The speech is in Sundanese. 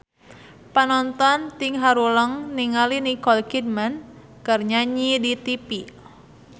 Panonton ting haruleng ningali Nicole Kidman keur nyanyi di tipi